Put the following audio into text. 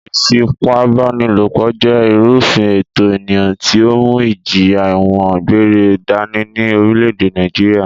Ìfipábánilòpọ̀ jẹ́ ìrúfin ẹ̀tọ̀ ènìyàn tí ó mú ìjìyà ẹ̀wọ̀n gbére dání ní orílẹ̀-èdè Nàìjíríà